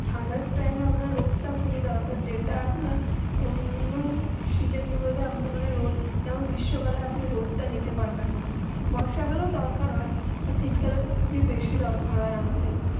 ঠান্ডা টাইম আপনার রোদ্র তা খুবই দরকার যেটা আপনার অন্য সিজন গুলু তে রোদ্র যেমন গ্রীষ্মকালে আপনি রোদ্র তা নিতে পারবেন না বর্ষাকালে দরকার হয়ে শীতকালে তো খুবই বেশি দরকার হয়ে